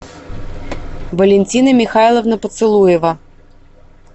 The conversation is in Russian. валентина михайловна поцелуева